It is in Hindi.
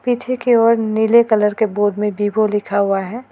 पीछे की ओर नीले कलर के बोर्ड में विवो लिखा हुआ है।